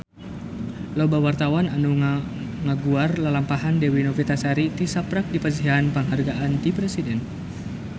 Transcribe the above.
Loba wartawan anu ngaguar lalampahan Dewi Novitasari tisaprak dipasihan panghargaan ti Presiden